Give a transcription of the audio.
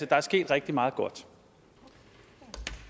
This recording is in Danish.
der er sket rigtig meget godt